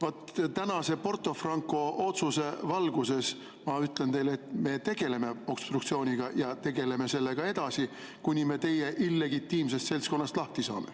Vaat tänase Porto Franco otsuse valguses ma ütlen teile, et me tegeleme obstruktsiooniga ja tegeleme sellega edasi, kuni me teie illegitiimsest seltskonnast lahti saame.